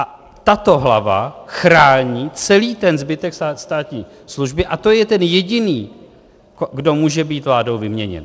A tato hlava chrání celý ten zbytek státní služby a to je ten jediný, kdo může být vládou vyměněn.